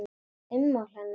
Ummál hennar